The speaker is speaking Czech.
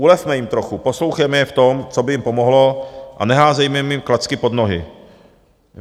Ulevme jim trochu, poslouchejme je v tom, co by jim pomohlo, a neházejme jim klacky pod nohy.